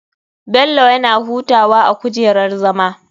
Bello yana hutawa a gujerar zama.